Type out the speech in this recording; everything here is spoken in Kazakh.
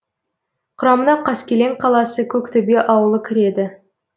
құрамына қаскелең қаласы көктөбе ауылы кіреді